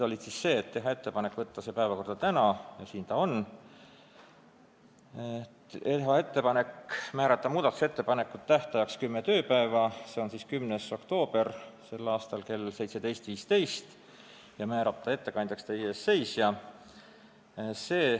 Otsustasime teha ettepaneku võtta see eelnõu päevakorda täna – ja siin ta on –, teha ettepaneku muudatusettepanekute esitamise tähtajaks määrata kümme tööpäeva, s.o 10. oktoober kell 17.15, ja määrata ettekandjaks teie ees seisja.